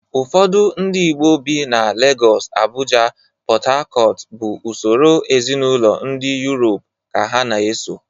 Ụfọdụ ndị Igbo bi na Legọs, Abụja, PọtHakọt bụ usoro ezinaụlọ ndị Yurop ka ha na-eso